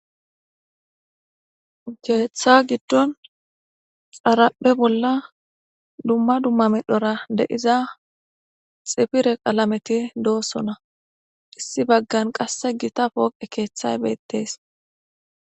Keetha gidon xaraphe bolla dumma dumma medhora dei'zza xifire qallamethi dossona. Issi bagan qasse gutta foqe kethay bethess.